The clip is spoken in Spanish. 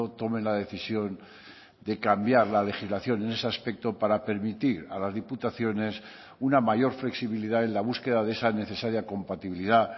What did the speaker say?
tome la decisión de cambiar la legislación en ese aspecto para permitir a las diputaciones una mayor flexibilidad en la búsqueda de esa necesaria compatibilidad